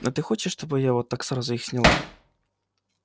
а ты хочешь чтобы я их вот так сразу их сняла